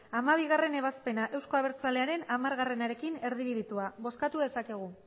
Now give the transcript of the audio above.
hamabigarrena ebazpena euzko abertzalearen hamararekin erdibidetua bozkatu dezakegu